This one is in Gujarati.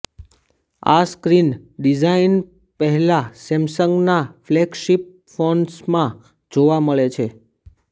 આ સ્ક્રીન ડિઝાઈન પહેલા સેમસંગના ફ્લેગશિપ ફોન્સમાં જોવા મળે છે